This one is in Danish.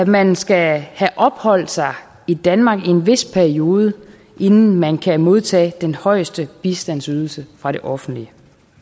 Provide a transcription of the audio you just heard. man skal have opholdt sig i danmark i en vis periode inden man kan modtage den højeste bistandsydelse fra det offentlige